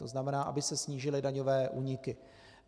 To znamená, aby se snížily daňové úniky.